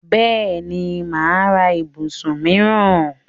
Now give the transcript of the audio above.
Bẹ́ẹ̀ni, mà á ra ibùsùn míìràn